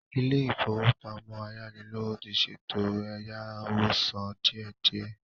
Ilé-ìfowópamọ ayánilówó ti ṣètò ẹ̀yáwó sán díe díẹ.